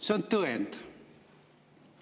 See on tõend.